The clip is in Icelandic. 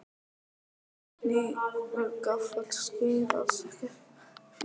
Hnífur gaffall skeið alls ekkert fjórða?